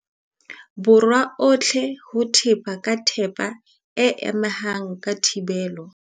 Borwa ohle ho tseba ka thepa e amehang ya thibelo.